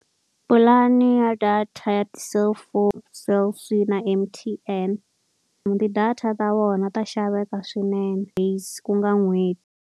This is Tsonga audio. Pulani ya data ya ti-cellphone Cell C na M_T_N. Ti-data ta vona ta xaveka swinene ku nga n'hweti.